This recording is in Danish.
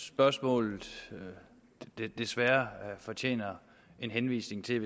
spørgsmålet desværre fortjener en henvisning til